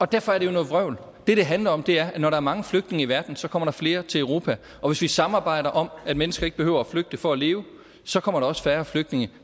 derfor er det jo noget vrøvl det det handler om er at når der er mange flygtninge i verden så kommer der flere til europa og hvis vi samarbejder om at mennesker ikke behøver at flygte for at leve så kommer der også færre flygtninge